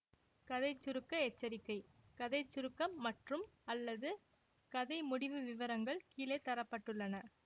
கதை சுருக்க எச்சரிக்கை கதை சுருக்கம் மற்றும்அல்லது கதை முடிவு விவரங்கள் கீழே தர பட்டுள்ளன